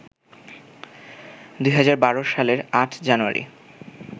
২০১২ সালের ৮ জানুয়ারি